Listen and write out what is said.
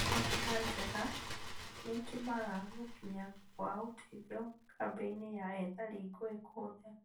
Barabara njega nĩitũmaga gũkinya gwa ũteithio kambĩ-inĩ ya ethari ngũĩ kũhũthe